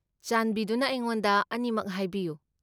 ꯆꯥꯟꯕꯤꯗꯨꯅ ꯑꯩꯉꯣꯟꯗ ꯑꯅꯤꯃꯛ ꯍꯥꯏꯕꯤꯌꯨ꯫